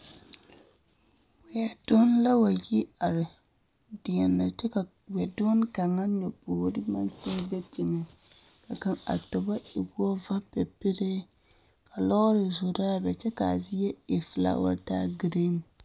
Weɛ donne la wa yi are deɛnɛ kyɛ ka wɛdonne kaŋa nyobogiri maŋ sigi be teŋɛ ka a tobo e wo vapepelee ka lɔɔre zoraa be kyɛ k'a zie e felaawa taa giriin.